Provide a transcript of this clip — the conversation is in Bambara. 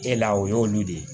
E la o y'olu de ye